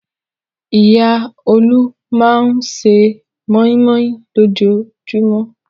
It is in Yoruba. Ìyá Olú máa ṣe mọ́í-mọ́í lójoojúmọ́.